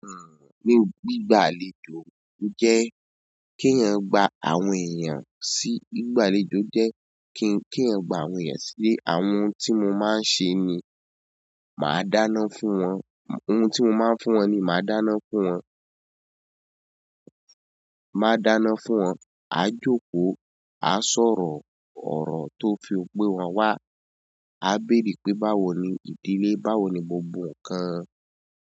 Ní gbígbà àlejò jẹ́ kí ẹyan gba àwọn èèyàn sí gbígbàlejò jẹ́ kí ẹ gba àwọn èèyàn si. Àwọn ohun tí mo máa ń sẹ ni màá dáná fún wọn, ohun tí mo máa ń fún wọn ni màá dáná fún wọn. Maa dáná fún won a joko a sọ̀rọ̀, oro to fi gbe won wa, a bere pe báwo ni ìdílé báwo ni gbogbo nkan.